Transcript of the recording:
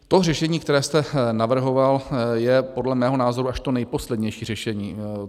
To řešení, které jste navrhoval, je podle mého názoru až to nejposlednější řešení.